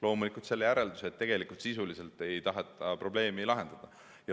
Loomulikult selle järelduse, et tegelikult ei taheta sisuliselt probleemi lahendada.